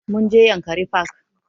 Mun je yankari park